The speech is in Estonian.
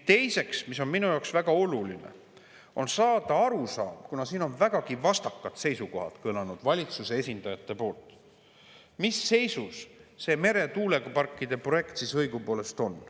Teiseks on minu jaoks väga oluline saada arusaam – kuna siin on vägagi vastakad seisukohad kõlanud valitsuse esindajatelt –, mis seisus see meretuuleparkide projekt siis õigupoolest on.